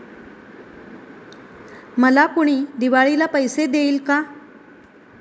'मला कुणी दिवाळीला पैसे देईल का?'